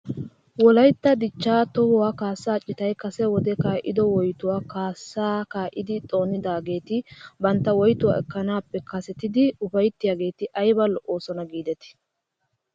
Wolaytta dichchaa tuhuwwaa kaasaa citay kase wode kaa'ido woytuwaa kaasaa kaa'idi xoonedaageeti bentta woytuwaa ekkanaappe kasetidi ufayttiyaageeti ayba lo'oosona giidetii